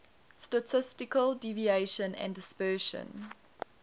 statistical deviation and dispersion